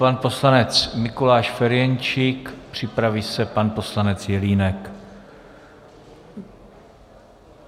Pan poslanec Mikuláš Ferjenčík, připraví se pan poslanec Jelínek.